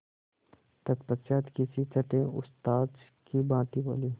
तत्पश्चात किसी छंटे उस्ताद की भांति बोले